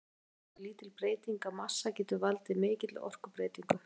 Það leiðir til þess að lítil breyting á massa getur valdið mikilli orkubreytingu.